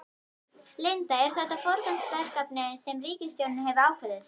Linda, er þetta forgangsverkefni sem ríkisstjórnin hefur ákveðið?